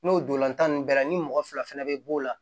N'o dolonnlan nunnu bɛɛ la ni mɔgɔ fila fɛnɛ bɛ b'o la